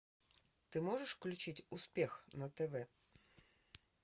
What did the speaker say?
ты можешь включить успех на тв